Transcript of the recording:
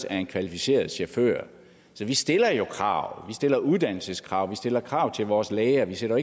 af en kvalificeret chauffør så vi stiller jo krav stiller uddannelseskrav vi stiller krav til vores læger vi sender